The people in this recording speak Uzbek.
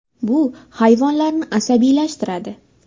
Bu hayvonlarni asabiylashtiradi.